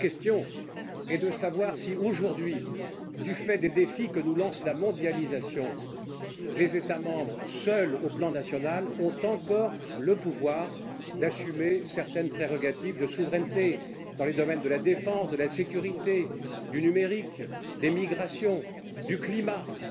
La vraie question est de savoir si, aujourd'hui, du fait des défis que nous lance la mondialisation, les États membres, seuls au plan national, ont encore le pouvoir d'assumer certaines prérogatives de souveraineté dans les domaines de la défense, de la sécurité, du numérique, des migrations, du climat. Dans